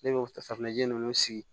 Ne bɛ o safunɛ ji ninnu sigi